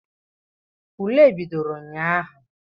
Ule bidoro ụnyaahụ.